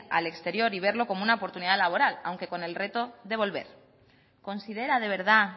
al exterior y verlo como una oportunidad laboral aunque con el reto de volver considera de verdad